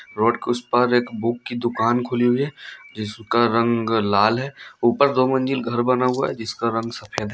Road के उस पार एक बुक की दुकान खुली हुई है जिसका रंग लाल है ऊपर दो मंजिल घर बना हुआ है जिसका रंग सफ़ेद है।